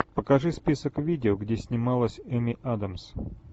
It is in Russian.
покажи список видео где снималась эми адамс